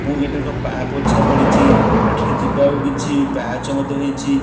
ପାପୋଛା ପଡ଼ିଚି ଏଠାରେ ଯିବାକୁ କିଛି ପାହାଚ ମଧ୍ୟ ହେଇଛି।